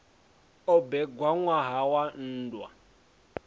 o bebwa ṋwaha wa nndwa